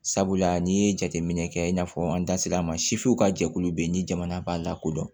Sabula n'i ye jateminɛ kɛ i n'a fɔ an da sera a ma sifuw ka jɛkulu bɛ yen ni jamana b'a lakodɔn